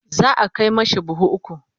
za'a Kai mashi buhu ukwu